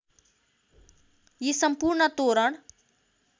यी सम्पूर्ण तोरण